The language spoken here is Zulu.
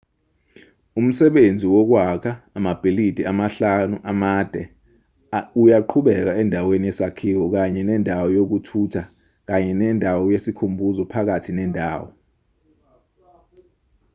umsebenzi wokwakha amabhilidi amahlanu amade uyaqhubeka endaweni yesakhiwo kanye nendawo yokuthutha kanye nendawo yesikhumbuzo phakathi nendawo